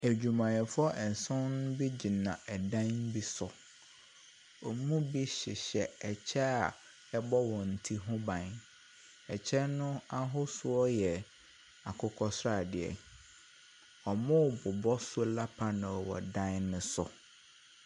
Adwumayɛfoɔ nson bi agyina dan bi so. Wɔn mu bi hyehyɛ ɛkyɛ a ɛbɔ wɔn ti ho ban. Ɛkyɛ no ahosuo yɛ akokɔsradeɛ. Wɔrebɛbɔ solar panel wɔ dan bi so.